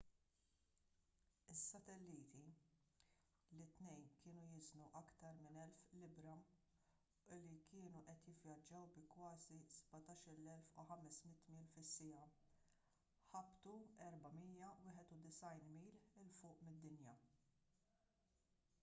is-satelliti li t-tnejn kienu jiżnu aktar minn 1,000 libbra u li kienu qed jivvjaġġaw bi kważi 17,500 mil fis-siegħa ħabtu 491 mil il fuq mid-dinja